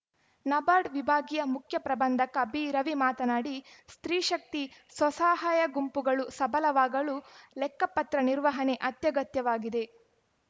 ನಬಾರ್ಡ್‌ ವಿಭಾಗೀಯ ಮುಖ್ಯ ಪ್ರಬಂಧಕ ಬಿರವಿ ಮಾತನಾಡಿ ಸ್ತ್ರೀ ಶಕ್ತಿ ಸ್ವಸಹಾಯ ಗುಂಪುಗಳು ಸಬಲವಾಗಲು ಲೆಕ್ಕಪತ್ರ ನಿರ್ವಹಣೆ ಅತ್ಯಗತ್ಯವಾಗಿದೆ